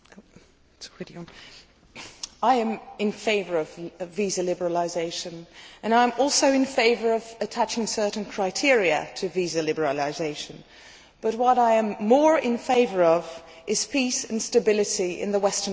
Madam President, I am in favour of visa liberalisation and I am also in favour of attaching certain criteria to visa liberalisation, but what I am more in favour of is peace and stability in the Western Balkans.